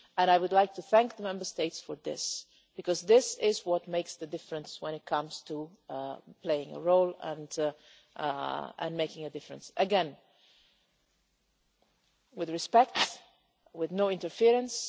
I would like to thank the Member States for this, because this is what makes the difference when it comes to playing a role and making a difference, again with respect, with no interference.